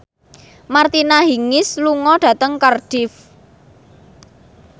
Martina Hingis lunga dhateng Cardiff